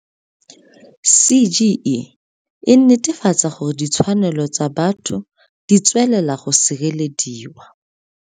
CGE e netefatsa gore ditshwanelo tsa batho ditswelela go sirelediwa.